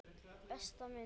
Besta myndin?